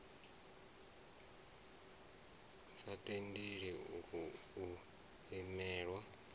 a sa tendeli u imelelwa